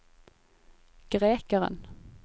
grekeren